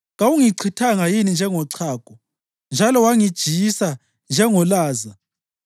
Kawungichithanga yini njengochago njalo wangijiyisa njengolaza,